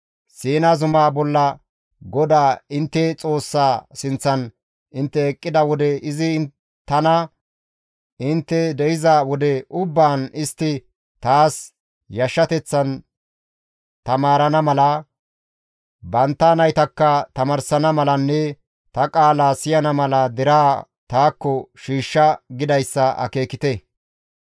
Siina zumaa bolla GODAA intte Xoossaa sinththan intte eqqida wode izi tana, ‹Intte de7iza wode ubbaan istti taas yashshateth taamarana mala, bantta naytakka tamaarsana malanne ta qaalaa siyana mala deraa taakko shiishsha› gidayssa akeekite.